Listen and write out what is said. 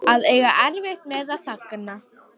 Að eiga erfitt með að þagna